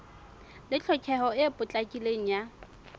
le tlhokeho e potlakileng ya